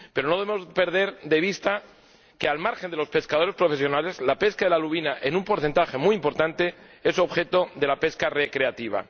Pero no podemos perder de vista que, al margen de los pescadores profesionales, la lubina, en un porcentaje muy importante, es objeto de la pesca recreativa.